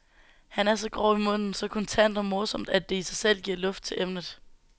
Han er så grov i munden, så kontant og morsom, at det i sig selv giver luft til emnet.